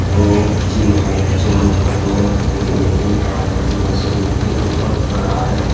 ये एक जिम है जिम करने के लिए एक आदमी मशीन के ऊपर खड़ा है।